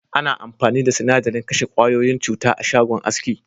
Ana amfani da sinadarin kashe ƙwayoyin cuta a'shagon aski.